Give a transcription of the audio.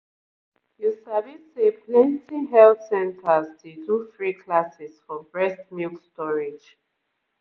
you sabi say plenty health centers dey do free classes for breast milk storage